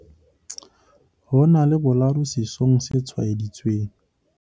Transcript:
ho na le boladu sesong se tshwaeditsweng